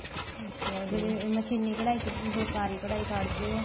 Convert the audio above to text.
ਅੱਛਿਆ ਜਿਹੜੇ ਮਸ਼ੀਨੀ ਕਢਾਈ ਤੇ ਤੁਸੀਂ ਫੁਲਕਾਰੀ ਕਢਾਈ ਕੱਡਦੇ ਹੋ